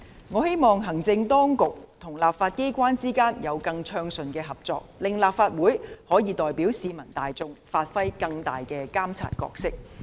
我希望行政當局與立法機關之間有更暢順的合作，令立法會可以代表市民大眾，發揮更大的監察角色。